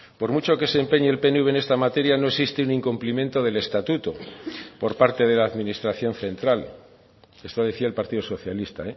por mucho que se empeñe el pnv en esta materia no existe un incumplimiento del estatuto por parte de la administración central esto decía el partido socialista